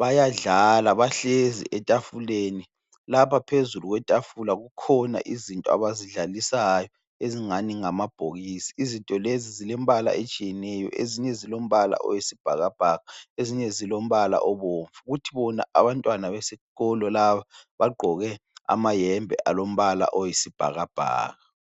bayadlala bahlezi etafuleni. Lapha phezulu kwetafula kukhona izinto abazidlalisayo ezingani ngamabhokisi. Izinto lezi zilembala etshiyeneyo, ezinye zilombala oyisibhakabhaka, ezinye zilombala obomvu. Kuthi bona abantwana besikolo laba bagqoke amayembe alombala oyisibhakabhaka.